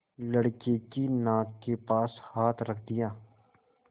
लड़के की नाक के पास हाथ रख दिया